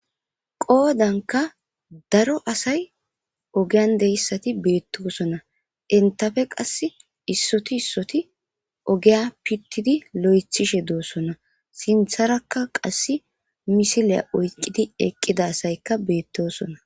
qoodanka daro asay ogiyan deyssati beettoosona entafe qass issoti issoti ogeya pittidi lo7ethishe doosona sintharakka qass misileya oyqqidi eqqida asaykka beettosona